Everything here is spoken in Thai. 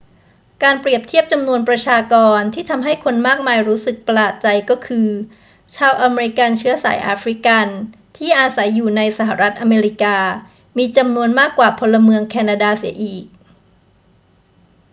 การเปรียบเทียบจำนวนประชากรที่ทำให้คนมากมายรู้สึกประหลาดใจก็คือ ชาวอเมริกันเชื้อสายแอฟริกันที่อาศัยอยู่ในสหรัฐอเมริกามีจำนวนมากกว่าพลเมืองแคนาดาเสียอีก